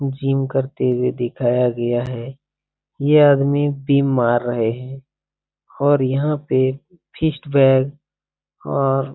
gym करते हुए दिखाया गया है ये आदमी बीम मार रहे है और यहाँ पे फीस्ट बैग और --